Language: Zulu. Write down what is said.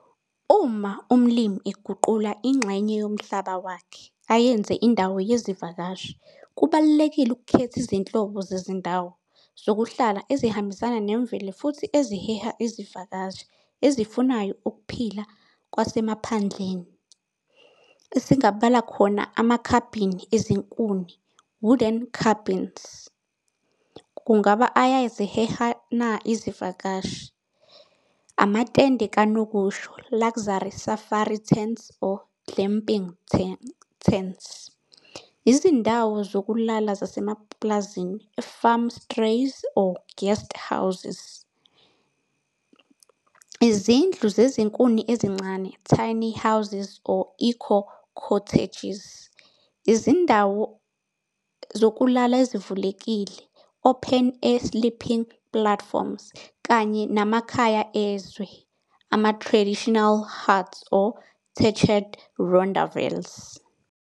Uma umlimi eguqula ingxenye yomhlaba wakhe ayenze indawo yezivakashi, kubalulekile ukukhetha izinhlobo zezindawo zokuhlala ezihambisana nemvelo futhi eziheha izivakashi ezifunayo ukuphila kwasemaphandleni, esingabala khona amakhabhini ezinkuni, wooden cabins, kungaba ayaziheha na izivakashi? amatende kanokusho luxury safari tents or glamping tents. Izindawo zokulala zasemapulazini farm strays, or guest houses, izindlu zezinkuni ezincane tiny houses or eco cottages. Izindawo zokulala ezivulekile, open air sleeping platforms kanye namakhaya ezwe, ama-traditional huts or thatched rondavels.